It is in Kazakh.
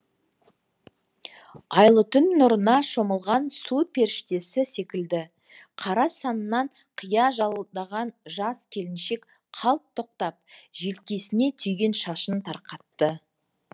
айлы түн нұрына шомылған су періштесі секілді қара саннан қия жалдаған жас келіншек қалт тоқтап желкесіне түйген шашын тарқатты